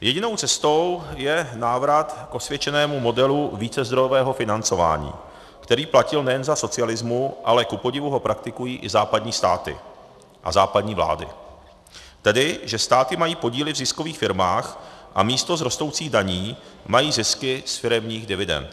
Jedinou cestou je návrat k osvědčenému modelu vícezdrojového financování, který platil nejen za socialismu, ale kupodivu ho praktikují i západní státy a západní vlády, tedy, že státy mají podíly v ziskových firmách a místo z rostoucích daní mají zisky z firemních dividend.